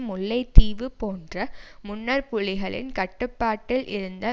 முல்லைத்தீவு போன்ற முன்னர் புலிகளின் கட்டுப்பாட்டில் இருந்த